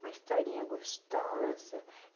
Uma historinha gostosa.